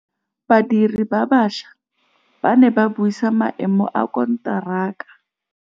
Badiri ba baša ba ne ba buisa maêmô a konteraka.